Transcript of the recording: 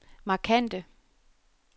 markante